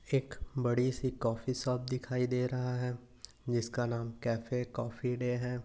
एक बड़ी सी कॉफी शॉप दिखाई दे रहा है जिसका नाम कैफे कॉफी डे है।